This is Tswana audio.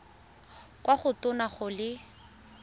kwa go tona go le